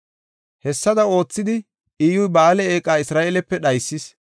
Hessada oothidi, Iyyuy Ba7aale eeqa Isra7eelepe dhaysis.